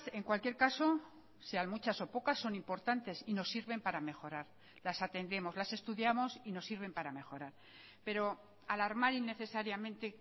en cualquier caso sean muchas o pocas son importantes y nos sirven para mejorar las atendemos las estudiamos y nos sirven para mejorar pero alarmar innecesariamente